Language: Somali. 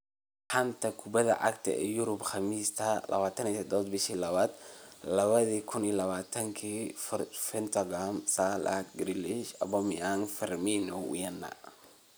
Xanta Kubadda Cagta Yurub Khamiista 27.02.2020: Forsberg, Vertonghen, Salah, Grealish, Aubameyang, Firmino, Werner